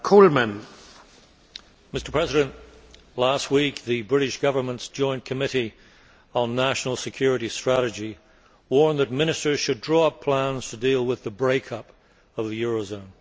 Mr President, last week the British Government's Joint Committee on National Security Strategy warned that ministers should draw up plans to deal with the break up of the eurozone.